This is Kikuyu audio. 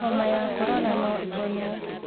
Homa ya korona no ĩhonwo